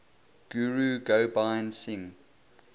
guru gobind singh